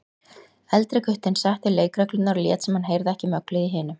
Eldri guttinn setti leikreglurnar og lét sem hann heyrði ekki möglið í hinum.